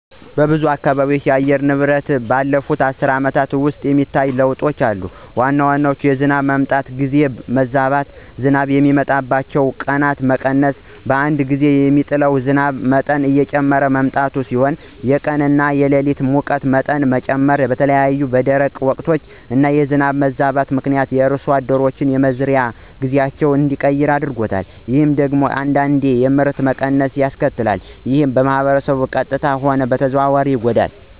በብዙ አካባቢዎች የአየር ሁኔታ ባለፉት አስርት ዓመታት ውስጥ የሚታዩ ለውጦች አሉ። ዋና ዋናዎቹ የዝናብ መምጣት ጊዜ መዛባት፣ ዝናብ የሚዘንብባቸው ቀናት መቀነስ፣ በአንድ ጊዜ የሚጥለው ዝናብ መጠን እየጨመረ መምጣት ሲሆኑ የቀን እና የሌሊት ሙቀት መጠን መጨመር በተለይም በደረቅ ወቅቶች እና የዝናብ መዛባት ምክንያት አርሶ አደሮች የመዝሪያ ጊዜያቸውን እንዲቀይሩ አድርጓል። ይህ ደግሞ አንዳንዴ የምርት መቀነስን ያስከትላል። ይህም ማህበረሰቡን በቀጥታም ይሁን በተዘዋዋሪ ይጎዳል።